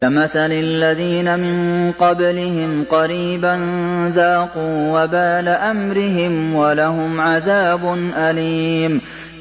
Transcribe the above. كَمَثَلِ الَّذِينَ مِن قَبْلِهِمْ قَرِيبًا ۖ ذَاقُوا وَبَالَ أَمْرِهِمْ وَلَهُمْ عَذَابٌ أَلِيمٌ